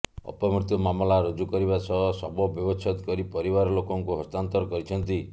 ଅପମୃତ୍ୟୁ ମାମଲା ରୁଜୁ କରିବା ସହ ଶବ ବ୍ୟବଚ୍ଛେଦ କରି ପରିବାର ଲୋକଙ୍କୁ ହସ୍ତାନ୍ତର କରିଛନ୍ତି